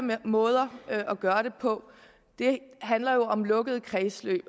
måder at gøre det på handler jo om lukkede kredsløb